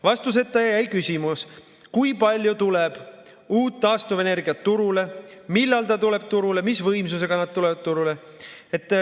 Vastuseta jäi küsimus, kui palju tuleb uut taastuvenergiat turule, millal ta tuleb turule, mis võimsusega tuleb turule.